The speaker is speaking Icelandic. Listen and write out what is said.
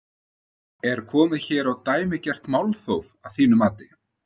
Er komið hér á dæmigert málþóf að þínu mati?